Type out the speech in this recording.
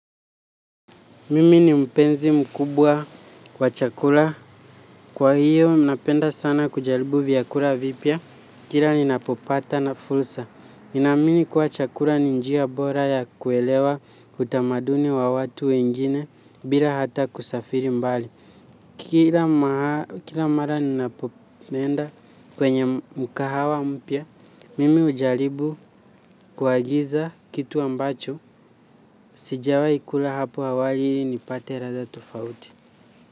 Mimi ni mpenzi mkubwa kwa chakula. Kwa hiyo, ninapenda sana kuralibu vyakula vipya. Kila ninapopata na fursa. Naamini kuwa chakula ni njia bora ya kuelewa utamaduni wa watu wengine bila hata kusafiri mbali kila mara ninapoenda kwenye mkahawa mpya mimi hujaribu kuagiza kitu ambacho. Sijawai kula hapo awali ili nipate ladha tofauti.